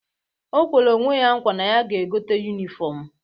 O kwere na nkwa na ya ga-egote yunifọmụ